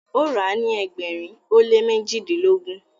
o ra ni ẹgbẹrin o le mejidilogun.